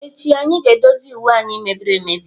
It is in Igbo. Echi anyị ga-edozi uwe anyị mebiri emebi.